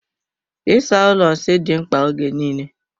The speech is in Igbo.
Ịsa ụlọ nsị dị mkpa ógè niile.